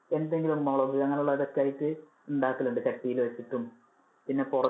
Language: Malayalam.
എന്തെങ്കിലും മുളക് അങ്ങനെ ഉള്ളത് അതൊക്കെ ആയിട്ട് ഉണ്ടാക്കലുണ്ട് ചട്ടീല് വെച്ചിട്ടും പിന്നെ പുറ~